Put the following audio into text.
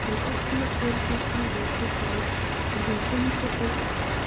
Hann opnar dyrnar aðeins til hálfs en hún hrindir þeim upp.